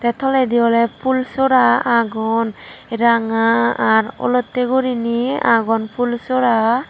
te toledi oley phul sora agon ranga ar olotte guriney phulsora.